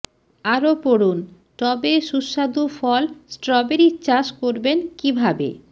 আরও পড়ুন টবে সুস্বাদু ফল স্টবেরির চাষ করবেন কিভাবে